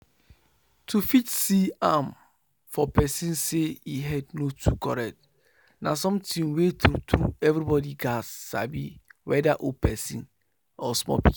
to fit see am for person say e head no too correct na sometin wey true true everybody gats sabi weda old person or small pikin